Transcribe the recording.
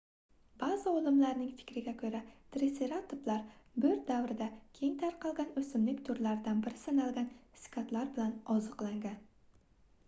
baʼzi olimlarning fikriga koʻra triseratoplar boʻr davrida keng tarqalgan oʻsimlik turidan biri sanalgan sikadlar bilan oziqlangan